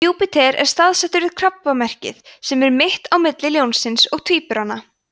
júpíter er staðsettur við krabbamerkið sem er mitt á milli ljónsins og tvíburana